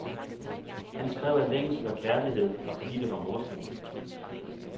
Han skrev af længsel og kærlighed, og fordi det var morsomt.